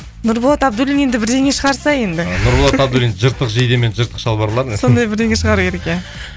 нұрболат абдуллин енді бірдеңе шығарса енді нұрболат абдуллин жыртық жейде мен жыртық шалбарлар десең сондай бірдене шығару керек иә